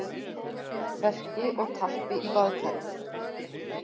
verki og tappi í baðkari.